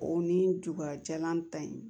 O ni duba jalan ta in